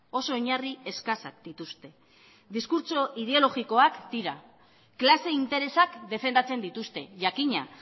oso oinarri eskasak dituzte diskurtso ideologikoak dira klase interesak defendatzen dituzte jakina